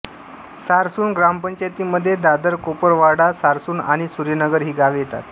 सारसूण ग्रामपंचायतीमध्ये दादरकोपरापाडा सारसूण आणि सुर्यनगर ही गावे येतात